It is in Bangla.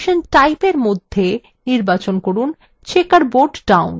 transition type in মধ্যে নির্বাচন করুন checkerboard down